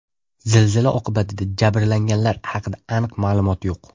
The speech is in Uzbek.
Zilzila oqibatida jabrlanganlar haqida aniq ma’lumot yo‘q.